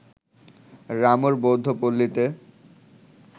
রামুর বৌদ্ধপল্লীতে